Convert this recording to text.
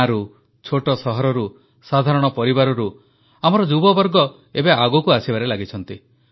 ଗାଁରୁ ଛୋଟ ସହରରୁ ସାଧାରଣ ପରିବାରରୁ ଆମର ଯୁବବର୍ଗ ଏବେ ଆଗକୁ ଆସିବାରେ ଲାଗିଛନ୍ତି